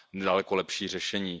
daleko lepší řešení.